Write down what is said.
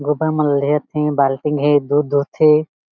गुता मन लेत हे बाल्टी म दूध दुह थे।